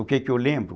O quê que eu lembro?